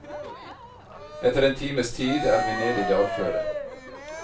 Etter en times tid er vi nede i dalføret.